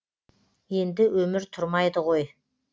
енді өмір тұрмайды ғой